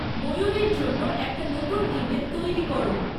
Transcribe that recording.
ময়ূরীর জন্য একটা নতুন ইমেল তৈরী কর